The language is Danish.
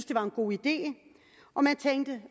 det var en god idé og jeg tænkte